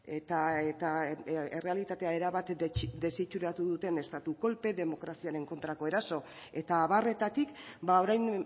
eta errealitatea erabat desitxuratu duten estatu kolpe demokraziaren kontrako eraso eta abarretatik orain